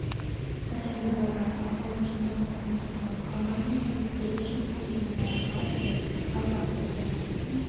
пәтерлі болады алтауы жыл соңында тапсырылады қалғанының құрылысы келер жылдың көктемінде аяқталады жалпы атбасардағы тасқын